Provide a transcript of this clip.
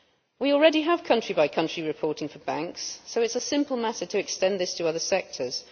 We already have country by country reporting for banks, so it is a simple matter to extend this to other sectors.